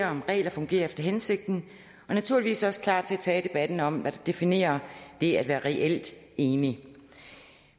om regler fungerer efter hensigten og naturligvis også klar til at tage debatten om at definere det at være reelt enlig